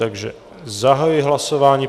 Takže zahajuji hlasování.